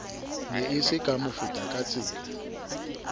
ne e se ka mofetakatsela